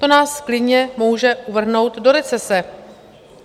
To nás klidně může uvrhnout do recese.